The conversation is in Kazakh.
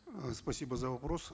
э спасибо за вопрос